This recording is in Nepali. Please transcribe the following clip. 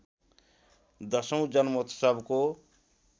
१० औँ जन्मोत्सवको